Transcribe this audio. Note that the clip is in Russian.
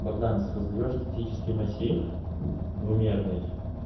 богдан создаёшь статический массив двумерный